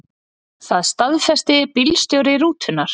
Það staðfesti bílstjóri rútunnar.